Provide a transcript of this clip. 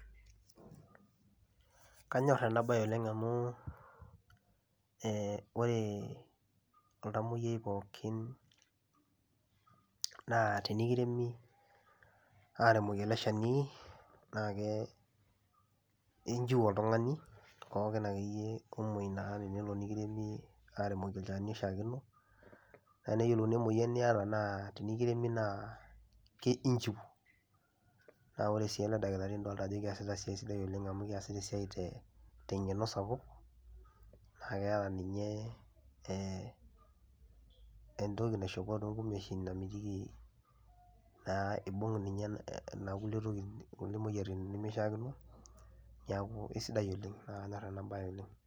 Kanyor ene bae oleng' amu ore oltamoyiai pooki naa tenekiremi aremoki ele shani naa inchiu oltong'ani pooki akeyie naa omoi naa tenelo nikiremi aremoki olchani oishaakino naa neyielouni emoyian niata naa tenekiremi naa inchiu naa kore sii ele dakitari naa keasita esiai te ng'eno sapuk, naa keeta ninye entoki naishopo too nkumeeshin namitiki naaa eibung' inkulie tokiting' imoyiaritin nemeishaakino naa kanyor ena bae oleng'.